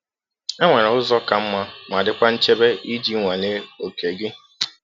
Enwere ụzọ ka mma ma dịkwa nchebe iji nwalee oke gị.